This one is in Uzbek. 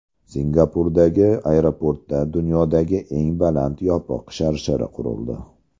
Singapurdagi aeroportda dunyodagi eng baland yopiq sharshara qurildi .